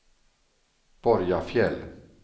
Borgafjäll